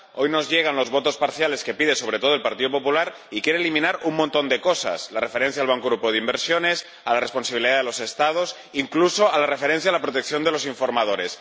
hoy nos llegan las votaciones parciales que pide sobre todo el Grupo popular, y quiere eliminar un montón de cosas la referencia al Banco Europeo de Inversiones, a la responsabilidad de los Estados, incluso la referencia a la protección de los informadores.